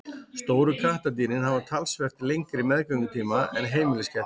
Stóru kattardýrin hafa talsvert lengri meðgöngutíma en heimiliskettir.